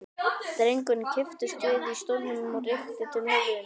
Drengurinn kipptist við í stólnum og rykkti til höfðinu.